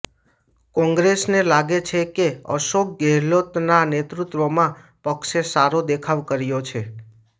કોંગ્રેસને લાગે છે કે અશોક ગેહલોતના નેતૃત્વમાં પક્ષે સારો દેખાવ કર્યો છે